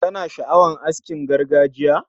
Kana sha'awar askin gargajiya?